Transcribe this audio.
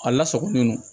A lasagolen don